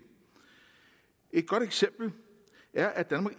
så